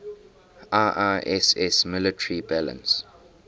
iiss military balance